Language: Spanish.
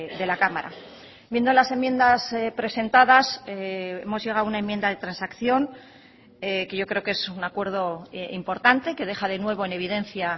de la cámara viendo las enmiendas presentadas hemos llegado a una enmienda de transacción que yo creo que es un acuerdo importante que deja de nuevo en evidencia